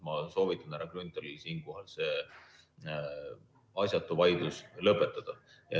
Ma soovitan härra Grünthalil siinkohal see asjatu vaidlus lõpetada.